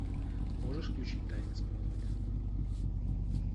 можешь включить тайны смолвиля